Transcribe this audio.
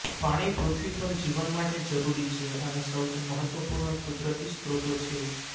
પાણી પૃથ્વી પર જીવન માટે જરૂરી છે અને સૌથી મહત્વપૂર્ણ કુદરતી સ્રોતો છે